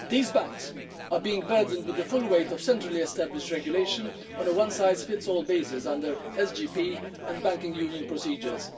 These banks are being burdened with the full weight of centrally established regulations on a one size fits all basis under SGP and banking union procedures.